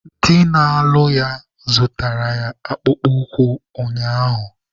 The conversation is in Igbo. Di na-alụ ya zụtaara ya akpụkpọ ụkwụ ụnyaahụ.